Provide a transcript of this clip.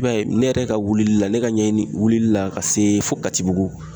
I b'a ye, ne yɛrɛ ka wulili la ,ne ka ɲɛɲini wulili la ka se fo katibugu